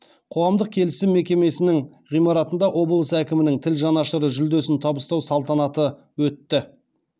қоғамдық келісім мекемесінің ғимаратында облыс әкімінің тіл жанашыры жүлдесін табыстау салтанаты өтті